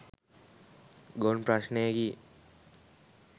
ගොන් ප්‍රශ්නයකි